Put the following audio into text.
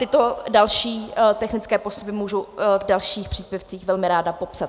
Tyto další technické postupy můžu v dalších příspěvcích velmi ráda popsat.